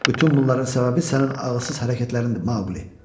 Bütün bunların səbəbi sənin ağılsız hərəkətlərindir, Maqli.